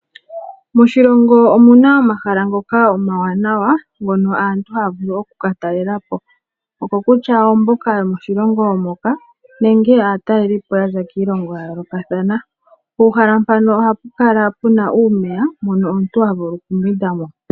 Moshilongo omuna omahala ngoka omawanawa ngoka aantu haya vulu okukatalela po okokutya omboka yomoshilongo moka nenge aatalelipo yaza kiilongo ya yoolokathana. Puuhala mpaka ohapu kala puna uumeya moka omuntu havulu okumbwinda mo.